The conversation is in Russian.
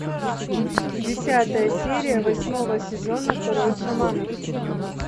десятая серия восьмого сезона король шаманов